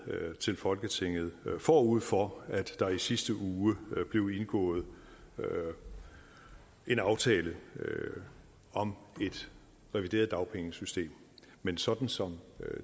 til folketinget forud for at der i sidste uge blev indgået en aftale om et revideret dagpengesystem men sådan som